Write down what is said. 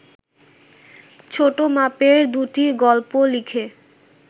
ছোট মাপের দুটি গল্প লিখে